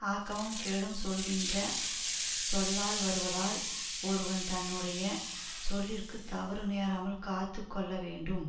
ஆக்கமும் கேடும் சொல்கின்ற சொல்லால் வருவதால் ஒருவன் தன்னுடைய சொல்லிற்க்கு தவறு நேராமல் காத்து கொள்ள வேண்டும்